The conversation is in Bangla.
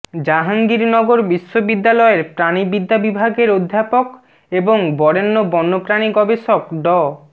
জাহাঙ্গীরনগর বিশ্ববিদ্যালয়ের প্রাণিবিদ্যা বিভাগের অধ্যাপক এবং বরেণ্য বন্যপ্রাণী গবেষক ড